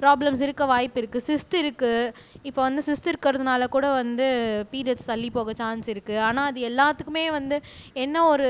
problems இருக்க வாய்ப்பு இருக்கு இருக்கு இப்போ வந்து இருக்கிறதுனால கூட வந்து பிரியோட்ஸ் தள்ளிப் போக சான்ஸ் இருக்கு ஆனா அது எல்லாத்துக்குமே வந்து என்ன ஒரு